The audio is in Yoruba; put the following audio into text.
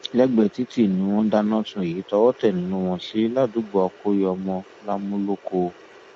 lẹgbẹẹ títì ni wọn dáná sun èyí tọwọ tẹ nínú wọn sí ládùúgbò akọyọmọ làmúlòkọ